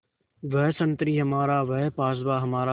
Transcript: वह संतरी हमारा वह पासबाँ हमारा